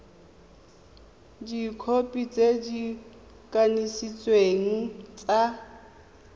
dikhopi tse di kanisitsweng tsa